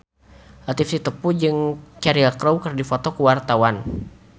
Latief Sitepu jeung Cheryl Crow keur dipoto ku wartawan